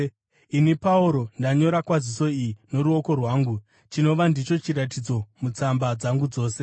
Ini Pauro, ndanyora kwaziso iyi noruoko rwangu, chinova ndicho chiratidzo mutsamba dzangu dzose.